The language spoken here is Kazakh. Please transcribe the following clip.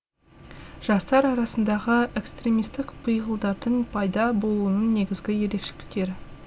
жастар арасындағы экстремистік пиғылдардың пайда болуының негізгі ерекшеліктері